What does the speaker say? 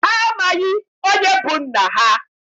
Ha amaghị onye bụ nna ha.